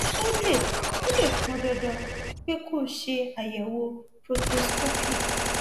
ó lè ó lè pọn dandan pé kó o ṣe àyẹwò proctoscopic